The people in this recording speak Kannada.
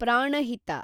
ಪ್ರಾಣಹಿತ